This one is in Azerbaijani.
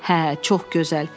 Hə, çox gözəl.